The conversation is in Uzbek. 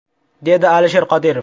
!” dedi Alisher Qodirov.